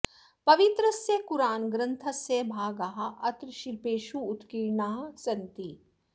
पवित्रस्य कुरान् ग्रन्थस्य भागाः अत्र शिल्पेषु उत्कीर्णाः सन्ति